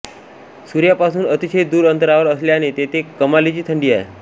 सूर्यापासून अतिशय दूर अंतरावर असल्याने तेथे कमालीची थंडी आहे